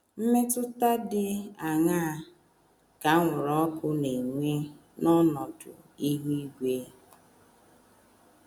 Mmetụta dị aṅaa ka anwụrụ ọkụ na - enwe n’ọnọdụ ihu igwe?